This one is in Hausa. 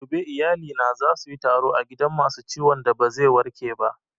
Gobe iyalina za suyi taro a gidan masu ciwon da ba zai warke ba